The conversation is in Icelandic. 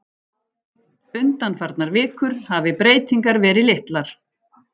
Undanfarnar vikur hafi breytingar verið litlar